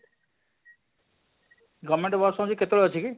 govement bus ହଁ ଯେ କେତେବେଳେ ଅଛି କି?